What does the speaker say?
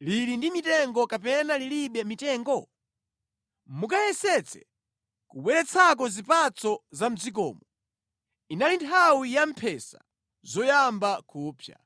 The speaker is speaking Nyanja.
lili ndi mitengo kapena lilibe mitengo? Mukayesetse kubweretsako zipatso za mʼdzikomo.” (Inali nthawi yamphesa zoyamba kupsa).